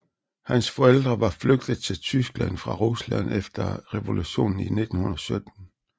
Hans forældre var flygtet til Tyskland fra Rusland efter revolutionen i 1917